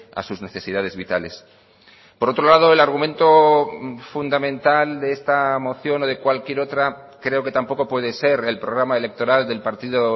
a sus necesidades vitales por otro lado el argumento fundamental de esta moción o de cualquier otra creo que tampoco puede ser el programa electoral del partido